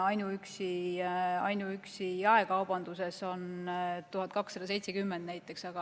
Näiteks ainuüksi jaekaubanduses on neid 1270.